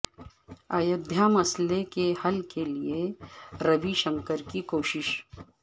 ایودھیا مسئلہ کے حل کے لئے روی شنکر کی کوششیں